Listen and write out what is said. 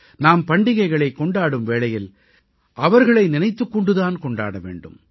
நாம் பண்டிகைகளைக் கொண்டாடும் வேளையில் அவர்களை நினைத்துக் கொண்டு தான் கொண்டாட வேண்டும்